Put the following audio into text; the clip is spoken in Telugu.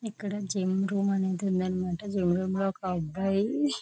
ఇక్కడ జిమ్ రూము అనేది ఉందనామాట మాట ఫ్లోర్ లోని ఒక అబ్బాయి